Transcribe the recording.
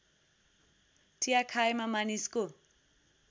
चिया खाएमा मानिसको